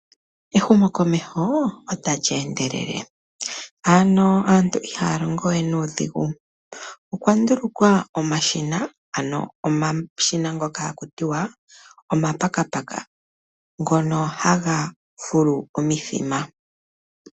Ehumokomeho otali endelele. Aantu ihaya longo we nuudhigu. Okwa ndulukwa omashina, ano omashina ngoka haku tiwa ookamalyenge, ngono haga fulu omithima.